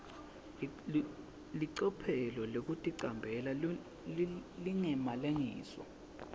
licophelo lekuticambela lingemalengiso